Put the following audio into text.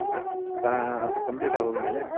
Complete ಅಗೊದ್ಮೇಲೆ.